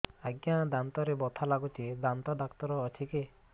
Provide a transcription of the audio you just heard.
ଆଜ୍ଞା ଦାନ୍ତରେ ବଥା ଲାଗୁଚି ଦାନ୍ତ ଡାକ୍ତର ଅଛି କି